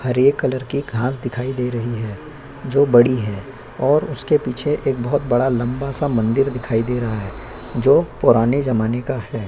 हरे colour की घास दिखाई दे रही हैजो बड़ी है और उसके पीछे एक बहोत बड़ा लंबा-सा एक मंदिर दिखाई दे रहा है जो पुराने जमाने का है।